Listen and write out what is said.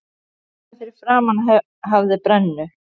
Þarna fyrir framan hafði brennu